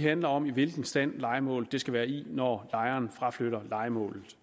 handler om i hvilken stand lejemålet skal være i når lejeren fraflytter lejemålet